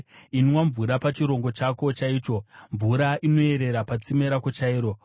Inwa mvura pachirongo chako chaicho, mvura inoerera patsime rako chairo.